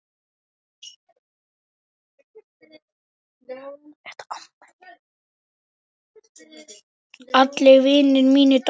Allir vinir mínir dóu.